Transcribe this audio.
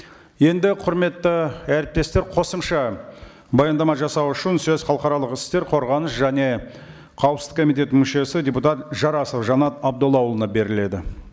енді құрметті әріптестер қосымша баяндама жасау үшін сөз халықаралық істер қорғаныс және қауіпсіздік комитетінің мүшесі депутат жарасов жанат абдоллаұлына беріледі